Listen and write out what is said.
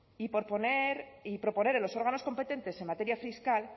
y proponer a los órganos competentes en materia fiscal